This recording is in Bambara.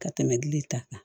Ka tɛmɛ gili ta kan